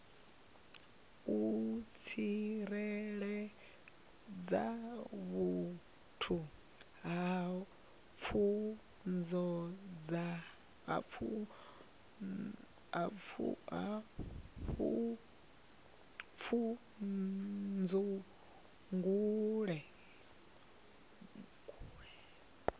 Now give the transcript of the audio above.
u tsireledza vhathu kha pfudzungule